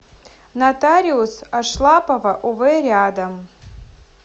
нотариус ашлапова ов рядом